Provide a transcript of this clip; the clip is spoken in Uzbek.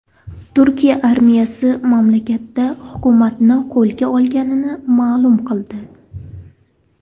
Turkiya armiyasi mamlakatda hukumatni qo‘lga olganini ma’lum qildi.